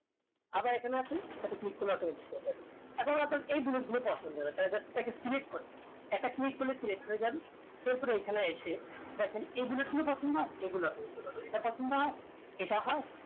আবার এখানে আসেন এটাতে click করলে automatic হয়ে যাবে এখন আপনার এই bullet গুলো পছন্দ না তালে just এটাকে select করে এটা click করলে select হয়ে যান তো এবারে এইখানে এসে দেখেন